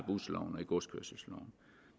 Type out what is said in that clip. i godskørselsloven